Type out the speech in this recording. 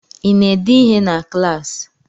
I na-ede ihe na klaasị?